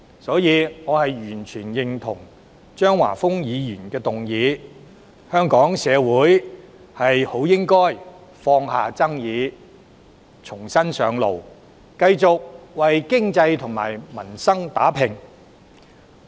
所以，我完全認同張華峰議員的議案，香港社會應當放下紛爭，重新上路，繼續為經濟與民生打拼。